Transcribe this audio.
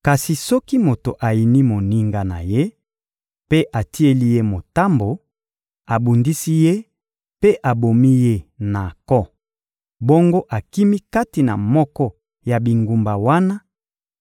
Kasi soki moto ayini moninga na ye mpe atieli ye motambo, abundisi ye mpe abomi ye na nko, bongo akimi kati na moko ya bingumba wana,